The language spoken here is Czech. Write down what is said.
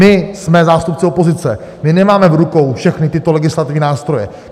My jsme zástupce opozice, my nemáme v rukou všechny tyto legislativní nástroje.